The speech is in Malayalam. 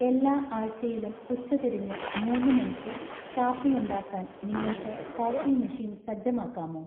എല്ലാ ആഴ്ചയിലും ഉച്ചതിരിഞ്ഞ് മൂന്ന് മണിക്ക് കാപ്പി ഉണ്ടാക്കാൻ നിങ്ങൾക്ക് കോഫി മെഷീൻ സജ്ജമാക്കാമോ